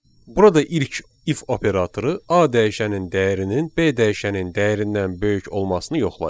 Burada ilk if operatoru A dəyişənin dəyərinin B dəyişənin dəyərindən böyük olmasını yoxlayır.